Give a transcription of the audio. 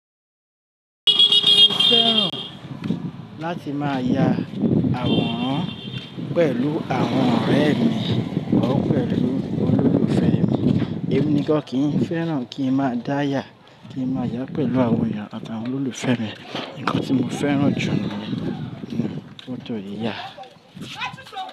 Mo fẹ́ràn láti máa ya àwòrán pẹ̀lú àwọn ọ̀rẹ́ or pẹ̀lú olólùfẹ́ mi. Èmi nìkan kìí fẹ́ràn kí n máa dáyà, kí n máa yàá pẹ̀lú àwọn èèyàn àtàwọn olólùfẹ́ mi. Ohun tí mo fẹ́ràn jù ni fọ́tò yíyà.